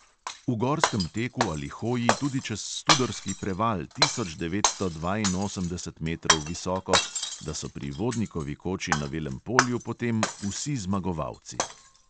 V gorskem teku ali hoji tudi čez studorski preval tisoč devetsto dvainosemdeset metrov visoko, da so pri vodnikovi koči na velem polju potem vsi zmagovalci.